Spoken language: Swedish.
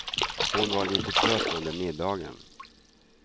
Hon var lite trött under middagen.